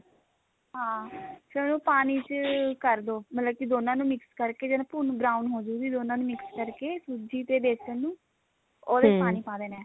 ਹਾਂ ਫੇਰ ਉਹ ਪਾਣੀ ਚ ਕਰਦੋ ਮਤਲਬ ਕੇ ਦੋਨਾਂ ਨੂੰ mix ਕਰਕੇ ਜਦ ਭੁੰਨ brown ਹੋਜੇਗੀ ਦੋਨਾ ਨੂੰ mix ਕਰਕੇ ਸੂਜੀ ਤੇ ਬੇਸਨ ਨੂੰ ਉਹਦੇ ਚ ਪਾਣੀ ਪਾ ਦੇਣਾ